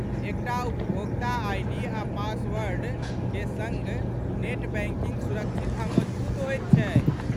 एकटा उपभोक्ता आइडी आ पासवर्डक सङ्ग नेट बैंकिंग सुरक्षित आ मजगूत होइत छै।